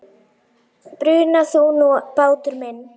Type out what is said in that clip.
Bruna þú nú, bátur minn.